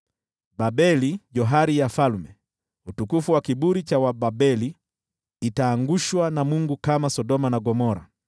Babeli, johari ya falme, utukufu wa kiburi cha Wababeli, itaangushwa na Mungu kama Sodoma na Gomora.